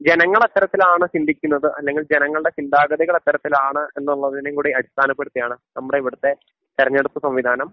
ജനങ്ങൾ എത്തരത്തിലാണ് ചിന്തിക്കുന്നത് അല്ലെങ്കിൽ ജനങ്ങളുടെ ചിന്താഗതികൾ എത്തരത്തിലാണ് എന്നുള്ളതിനെ കൂടി അടിസ്ഥാനപ്പെടുത്തിയാണ് നമ്മുടെ ഇവിടുത്തെ തെരഞ്ഞെടുപ്പ് സംവിധാനം